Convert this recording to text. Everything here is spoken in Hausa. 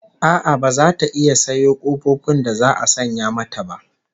A'a baza ta iya sayo kofofin da za'a sanya mata ba